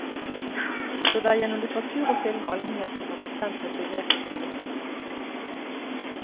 Så det er gjennom litteratur og film allmennheten har blitt kjent med begrepet kloning.